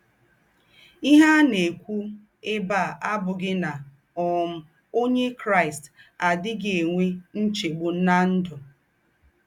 Íhe à ná-èkwù èbè à àbùghì ná um Ónyè Kraị́st àdíghì ènwè ńchègbù ná ndụ́.